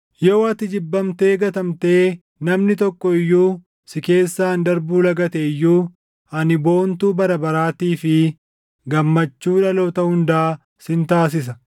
“Yoo ati jibbamtee gatamtee namni tokko iyyuu si keessaan darbuu lagate iyyuu, ani boontuu bara baraatii fi gammachuu dhaloota hundaa sin taasisa.